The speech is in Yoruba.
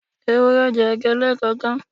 Ewúrẹ́ jẹ ẹ̀gbẹ́ lẹ́ẹ̀kọ̀kan.